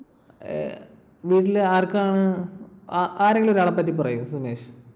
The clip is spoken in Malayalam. ഏർ വീട്ടിൽ ആർക്കാണ്? ആരെങ്കിലും ഒരാളെ പറ്റി പറയു സുമേഷ്?